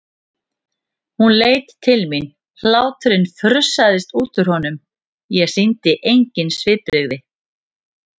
Hann leit til mín, hláturinn frussaðist út úr honum, ég sýndi engin svipbrigði.